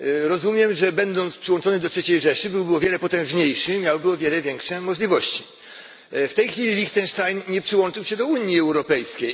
Rozumiem, że będąc przyłączony do Trzeciej Rzeszy byłby o wiele potężniejszy i miałby o wiele większe możliwości. W tej chwili Lichtenstein nie przyłączył się do Unii Europejskiej.